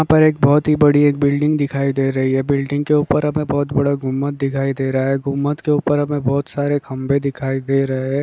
यहां पर एक बहुत ही बड़ी एक बिल्डिंग दिखाई दे रही है बिल्डिंग के ऊपर हमे बहुत बड़ा गुम्बन्द दिखाई दे रहा है गुंबद के ऊपर हमे बहुत सारे खंभे दिखाई दे रहे --